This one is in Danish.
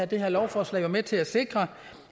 det her lovforslag med til at sikre